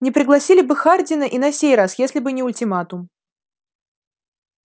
не пригласили бы хардина и на сей раз если бы не ультиматум